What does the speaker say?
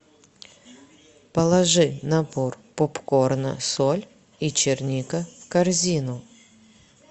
положи набор попкорна соль и черника в корзину